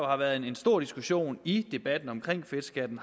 har været en stor diskussion i debatten om fedtskatten